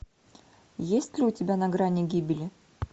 есть ли у тебя на грани гибели